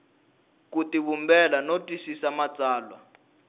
ku tivumbela no twisisa matsalwa